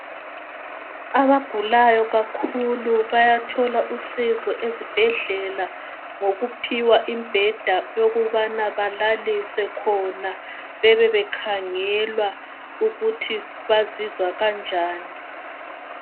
Abagulayo kakhulu bayathola usizo ezibhedlela ngokuphiwa imbheda yokubana balaliswe khona bebebekhangelwa ukuthi bazizwa kanjani.